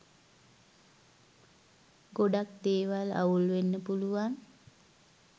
ගොඩක් දේවල් අවුල් වෙන්න පුලුවන්